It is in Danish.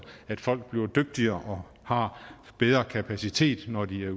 folk bliver dygtigere og har bedre kapacitet når de